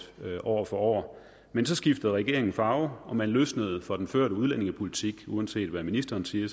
år for år men så skiftede regeringens farve og man løsnede for den førte udlændingepolitik uanset hvad ministeren siger